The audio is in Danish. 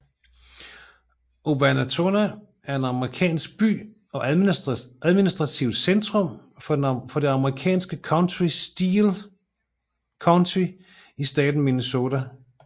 Owatonna er en amerikansk by og administrativt centrum for det amerikanske county Steele County i staten Minnesota